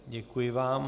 Děkuji vám.